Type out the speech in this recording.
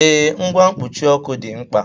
Ee, ngwa mkpuchi ọkụ dị mkpa